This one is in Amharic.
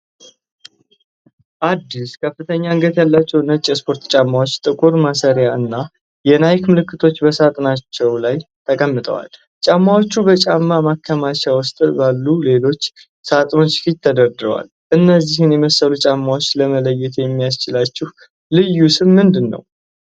አዲስ፣ ከፍተኛ አንገት ያላቸው ነጭ የስፖርት ጫማዎች ጥቁር ማሰሪያዎች እና የናይክ ምልክቶች በሳጥናቸው ላይ ተቀምጠዋል። ጫማዎቹ በጫማ ማከማቻ ውስጥ ባሉ ሌሎች ሳጥኖች ፊት ተደርድረዋል። እነዚህን የመሰሉ ጫማዎች ለመለየት የሚያስችላቸው ልዩ ስም ምንድነው?